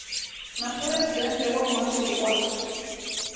na phuresidennde wa muhaṱuli wa